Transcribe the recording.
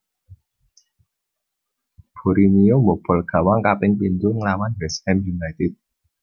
Borinio mbobol gawang kaping pindho nglawan West Ham United